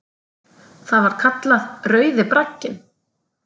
Það var kallað Rauði bragginn.